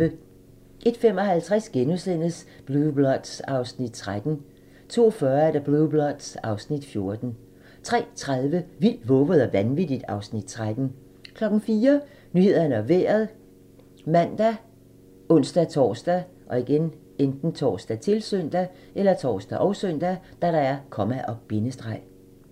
01:55: Blue Bloods (Afs. 13)* 02:40: Blue Bloods (Afs. 14) 03:30: Vildt, vovet og vanvittigt (Afs. 13) 04:00: Nyhederne og Vejret ( man, ons-tor, -søn)